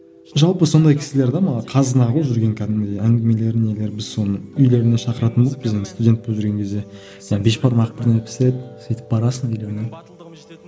жалпы сондай кісілер де маған қазына ғой жүрген кәдімгідей әңгімелері нелері біз соны үйлеріне шақыратынбыз біздің студент болып жүрген кезде бешбармақ бірдеңе пісіреді сөйтіп барасың үйлеріне